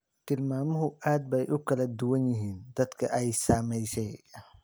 Tilmaamuhu aad bay ugu kala duwan yihiin dadka ay saamaysay.